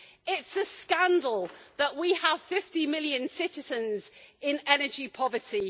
It is a scandal that we have 50 million citizens in energy poverty.